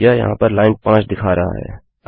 यह यहाँ पर लाइन 5 दिखा रहा है